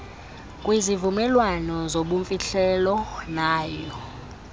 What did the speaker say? kwizivumelwano zobumfihlelo nawo